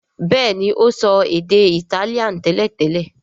béèni, o so èdè Itálíà teletele.